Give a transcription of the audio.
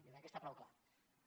jo crec que està prou clar